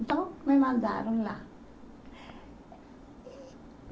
Então me mandaram lá.